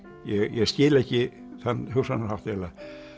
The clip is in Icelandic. ég skil ekki þann hugsunarhátt eiginlega